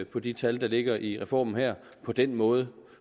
på de tal der ligger i reformen her på den måde